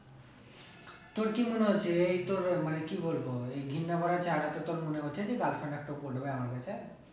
তোর কি মনে হচ্ছে এই তোর কি বলবো এই ঘেন্না করা চাকরি তে তোর মনে হচ্ছে যে girlfriend একটাও পটবে আমার কাছে?